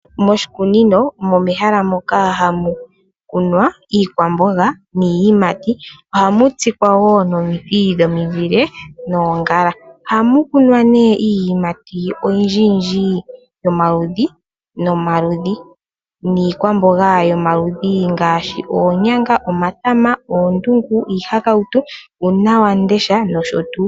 Moshikunino omo mehala moka hamu kunwa iikwamboga niiyimati. Ohamu tsikwa wo nomiti dhomizile noongala. Ohamu kunwa iiyimati oyindjiyindji yomaludhi nomaludhi niikwamboga yomaludhi ngaashi oonyanga, omatama , oondungu, iihakautu, uunawamundesha noshotuu.